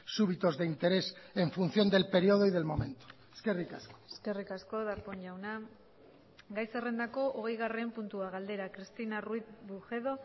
súbitos de interés en función del periodo y del momento eskerrik asko eskerrik asko darpón jauna gai zerrendako hogeigarren puntua galdera cristina ruiz bujedo